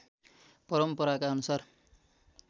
परम्पराका अनुसार